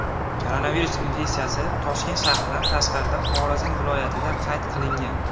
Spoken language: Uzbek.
Koronavirus infeksiyasi Toshkent shahridan tashqarida Xorazm viloyatida qayd qilingan.